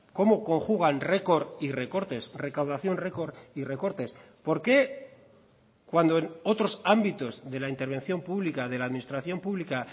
cómo conjugan record y recortes recaudación record y recortes por qué cuando en otros ámbitos de la intervención pública de la administración pública